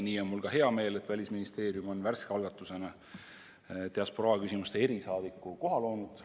Mul on ka hea meel, et Välisministeerium on värske algatusena diasporaaküsimuste erisaadiku koha loonud.